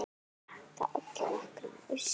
Það olli nokkrum usla.